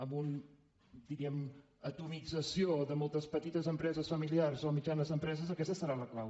amb una diríem atomització de moltes petites empreses familiars o mitjanes empreses aquesta serà la clau